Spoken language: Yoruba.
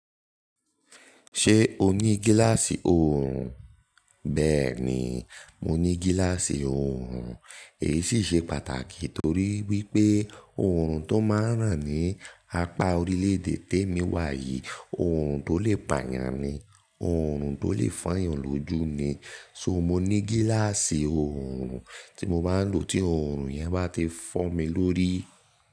Ṣé o ní gíláàsì òòrùn? Bẹ́ẹ̀ ni, mo ní gíláàsì òòrùn. Èyí sì ṣe pàtàkì torí wípé òòrùn tó máa ń ràn ní apá orílẹ̀-èdè tèmi wà yìí, òòrùn tó lè pàyàn ni, òòrùn tó lè foyàn lójú ni. So mo ní gíláàsì òòrùn tí mo máa ń lò tí òòrùn yẹn bá ti fọ́ mi lórí.